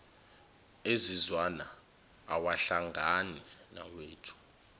ezizwana awahlangani nawethu